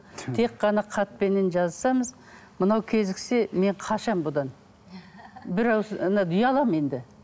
тек қана хатпеннен жазысамыз мынау кезіксе мен қашамын бұдан бір ауыз ұяламын енді